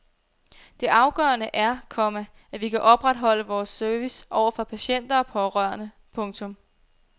Det afgørende er, komma at vi kan opretholde vores service over for patienter og pårørende. punktum